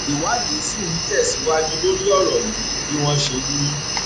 ìwádìí ṣì ń tẹsíwájú lórí ọrọ yìí bí wọn ṣe wí